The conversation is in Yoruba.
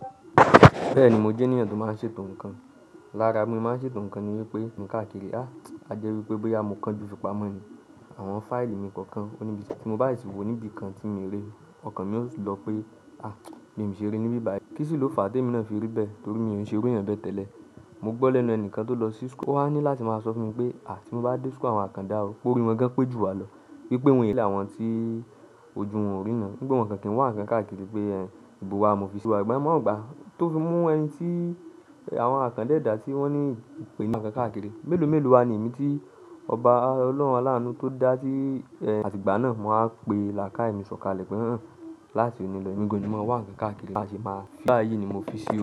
Bẹ́ẹ̀ni, mo jẹ́ ènìyàn tó máa ń ṣètò ǹkan. Lára bi mo se máa ń ṣètò ǹkan ni wípé mi o kii mu káàkiri, a jẹ́ wípé bóyá mo kanju ìfipamọ́ ni, àwọn fáìlì mi kookan, ó ní bí tí mo ti mo bá sì ti wò níbi kan tí mi o rí i, ọkàn mi yóò tì lọ pé, bi mi ò ṣe rí níbí báyìí. Kí sì ló fà á temi náà fi rí bẹ́ẹ̀? Torí mi ò n ṣe iru eeyan bẹ́ẹ̀ tẹ́lẹ̀. Mo gbọ́ lẹ́nu ẹni kan tó lọ sí school, o wa ní láti máa sọ fún mi pé, tí mo bá dé school awon akanda o p'orí wọn gan pé jùwá lọ. Wípé àwọn tí ojú wọn ò ríran, wípé wọ́n o kan kii wa nnkan kaakiri pe ìbò wa ni mo fi sí. Igba yen ni mo waa ro pe tó fi mú àwọn àkàndá ẹ̀dá tí wọ́n ní ìpènija ti won o kii wa nnkankààkiri. Mélòó mélòó wa ni èmi tí ọba ọlọ́run aláàánú tó dá ti àtìgbà náà máa pe làakaye mi ṣọ̀kalẹ̀ pé,, láti òní lọ. Ẹ̀mi gàn ni maa wan kẹ̀kààkiri láti ṣe máa. Báyìí ni mo fi sí o.